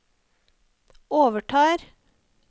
overtar